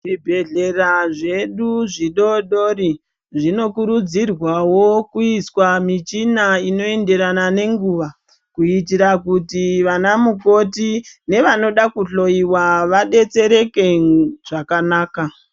Zvibhedhlera zvedu zvidodori zvinokurudzirwawo kuiswa michina inoenderana nenguwa kuitira kuti vana mukoti nevanoda kuhloyiwa vadetsereke zvakanaka .